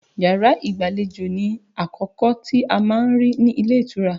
Yàrá ìgbàlejò ni àkọ́kọ́ tí a má ń rí ní ilé ìtura